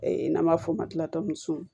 Ee n'an b'a f'o ma